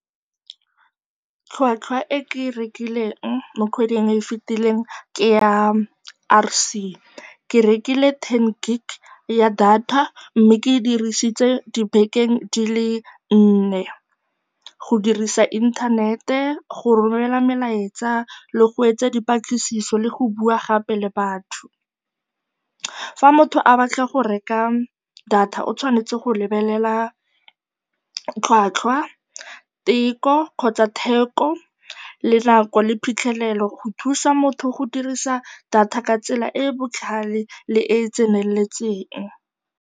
Tlhwatlhwa e ke e rekileng mo kgweding e e fitileng ke ya R_C. Ke rekile ten gig ya data mme ke e dirisitse dibekeng di le nne, go dirisa inthanete, go romela melaetsa le go etsa dipatlisiso le go bua gape le batho. Fa motho a batla go reka data o tshwanetse go lebelela tlhwatlhwa, teko kgotsa theko le nako le phitlhelelo go thusa motho go dirisa data ka tsela e e botlhale le e e tseneletseng.